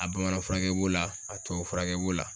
A bamanan furakɛ b'o la, a tubabu furakɛ b'o la